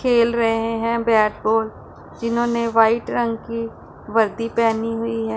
खेल रहे हैं बैट बॉल जिन्होंने व्हाइट रंग की वर्दी पहनी हुई है।